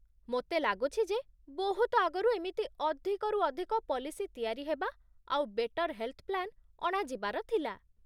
ମୋତେ ଲାଗୁଛି ଯେ ବହୁତ ଆଗରୁ ଏମିତି ଅଧିକରୁ ଅଧିକ ପଲିସି ତିଆରି ହେବା ଆଉ ବେଟର୍ ହେଲ୍‌ଥ୍ ପ୍ଲାନ୍ ଅଣାଯିବାର ଥିଲା ।